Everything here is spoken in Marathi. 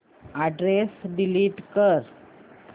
अॅड्रेस डिलीट कर